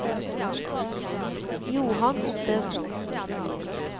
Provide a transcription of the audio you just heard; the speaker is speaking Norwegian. Johan Ottesen